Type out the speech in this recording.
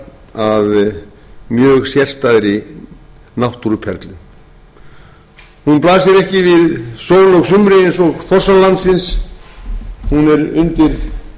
að mjög sérstæðri náttúruperlu hún blasir ekki við sól og sumri eins og fossar landsins hún er undir jarðskorpunni sjálfri en slíkur ketill slíkur